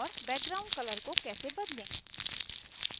background color को कैसे बदलें